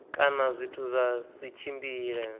kana zwithu zwa si tshimbile